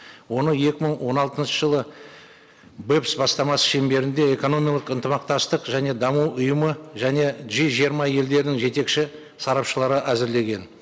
оны екі мың он алтыншы жылы бастамасы шеңберінде экономиялық ынтымақтастық және даму ұйымы және джи жиырма елдерінің жетекші сарапшылары әзірлеген